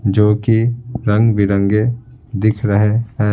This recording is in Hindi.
जो कि रंग-बिरंगे दिख रहे हैं।